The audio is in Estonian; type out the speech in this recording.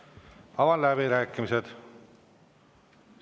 Avan läbirääkimised.